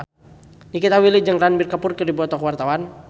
Nikita Willy jeung Ranbir Kapoor keur dipoto ku wartawan